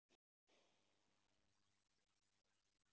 Þín Jórunn.